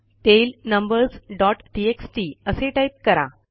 tail numbers dot TXT असे type करा